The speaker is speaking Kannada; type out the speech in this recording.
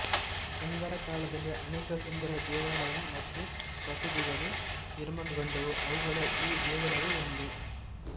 ಗಂಗರ ಕಾಲದಲ್ಲಿ ಅನೇಕ ಸುಂದರ ದೇವಾಲಯ ಮತ್ತು ಬಸದಿಗಳು ನಿರ್ಮಾಣಗೊಂಡವು ಅವುಗಳಲ್ಲಿ ಈ ದೇವಾಲಯವು ಒಂದು